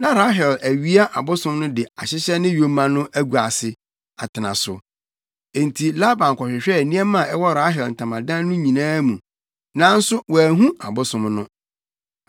Na Rahel awia abosom no de ahyehyɛ ne yoma no agua ase, atena so. Enti Laban kɔhwehwɛɛ nneɛma a ɛwɔ Rahel ntamadan no nyinaa mu, nanso wanhu abosom no.